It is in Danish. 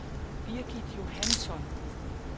Birgit Johansson